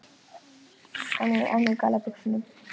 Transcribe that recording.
En ég er enn í galla buxunum.